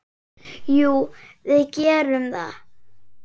Jú, við gerum það.